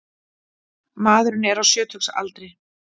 Maðurinn er á sjötugsaldri